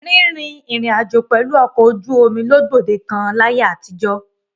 Rín rin ìrìn-àjò pẹ̀lú ọkọ̀ ojú omi ló gbòde kan láyé àtijọ́.